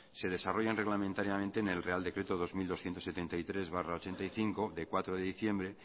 se desarrollan reglamentariamente en el real decreto dos mil doscientos setenta y tres barra ochenta y cinco de cuatro de diciembre